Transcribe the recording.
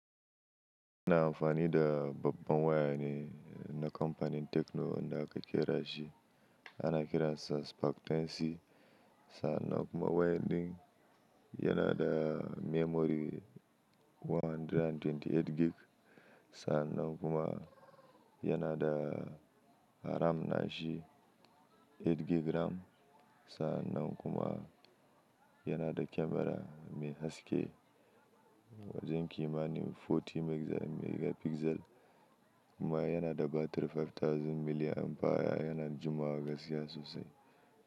Yana amfani da babban waya ne na kamfanin Tekno wanda aka ƙera shi, ana kiransa Spark 10C. Sannan kuma wayadin yana da memory 128 gig. Sannan kuma yana da RAM nashi 8 gig RAM. Sa'annan kuma yana da kyamara mai haske wajen ƙima nin 40 megapixel. Kuma yana da batiri 5000 milliampere. Yana jimawa gaskiya sosai.